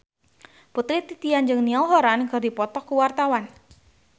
Putri Titian jeung Niall Horran keur dipoto ku wartawan